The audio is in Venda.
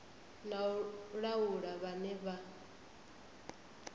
na u laula vhane vha